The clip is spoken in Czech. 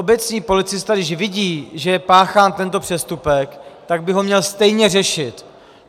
Obecní policista, když vidí, že je páchán tento přestupek, tak by ho měl stejně řešit.